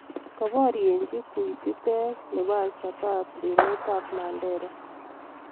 kaparieji kuitititek nebo al shabab emit ab Mandera